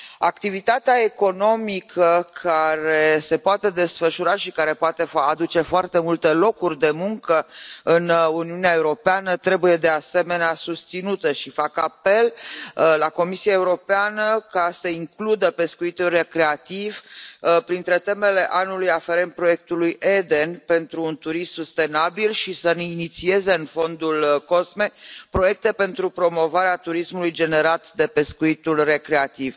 Activitatea economică care se poate desfășura și care poate aduce foarte multe locuri de muncă în Uniunea Europeană trebuie, de asemenea, susținută și fac apel la Comisia Europeană să includă pescuitul recreativ printre temele anului aferente proiectului EDEN pentru un turism sustenabil și să ne inițieze în fondul COSME proiecte pentru promovarea turismului generat de pescuitul recreativ.